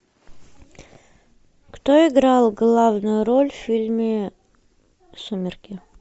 кто играл главную роль в фильме сумерки